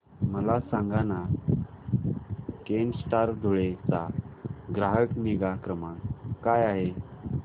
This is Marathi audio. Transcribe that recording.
मला सांगाना केनस्टार धुळे चा ग्राहक निगा क्रमांक काय आहे